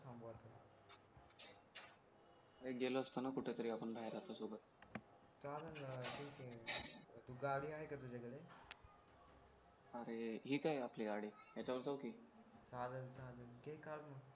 अरे गेलो असतो ना कुठेतरी बाहेर आपण आपल्या सोबत झालं ना ठीक आहे गाडी आहे का तुझ्याकडे अरे हे काय आपली गाडी याच्यावर जाऊ की चालेल चालेल घे काढून